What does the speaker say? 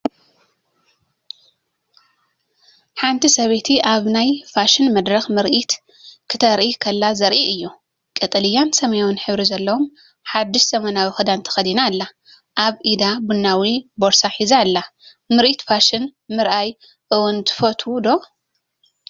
ሓንቲ ሰበይቲ ኣብ ናይ ፋሽን መድረክ ምርኢት ክተርኢ ከላ ዘርኢ እዩ። ቀጠልያን ሰማያውን ሕብሪ ዘለዎ ሓድሽ ዘመናዊ ክዳን ተኸዲና ኣላ። ኣብ ኢዳ ቡናዊ ቦርሳ ሒዛ ኣላ። ምርኢት ፋሽን ምርኣይ እውን ትፈቱው ዶ?